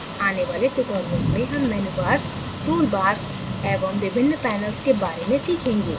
आने वाले tutorials में हम menu bars tool bars एवं विभिन्न panels के bars में सीखेगें